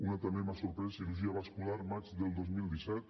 una que també m’ha sorprès cirurgia vascular maig del dos mil disset